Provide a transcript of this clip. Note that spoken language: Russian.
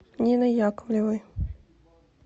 ниной яковлевой